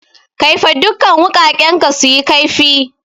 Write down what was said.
Kaifa dukan wuƙaƙen ka suyi kaifi!